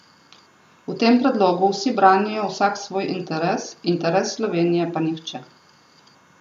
V tem predlogu vsi branijo vsak svoj interes, interes Slovenije pa nihče.